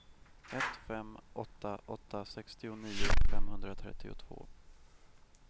ett fem åtta åtta sextionio femhundratrettiotvå